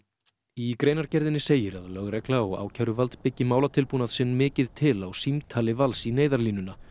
í greinargerðinni segir að lögregla og ákæruvald byggi málatilbúnað sinn mikið til á símtali Vals í Neyðarlínuna